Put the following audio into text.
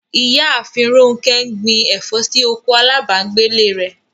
Ìyààfin Rọ̀nkẹ ń gbìn ẹ̀fọ̀ sí oko alábàgẹ̀lẹ̀ rẹ̀.